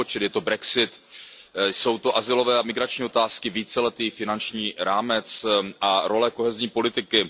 Je jich nespočet, je to brexit, jsou to azylové a migrační otázky, víceletý finanční rámec a role kohezní politiky.